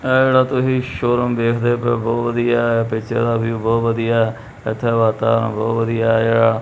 ਇਹ ਜਿਹੜਾ ਤੁਹੀ ਸ਼ੋ ਰੂਮ ਵੇਖਦੇ ਪਏ ਔ ਬਹੁਤ ਵਧੀਆ ਐ ਪਿੱਛੇ ਦਾ ਵਿਊ ਬਹੁਤ ਵਧੀਆ ਇੱਥੇ ਵਾਤਾਵਰਨ ਬਹੁਤ ਵਧੀਆ ਹੈਗਾ।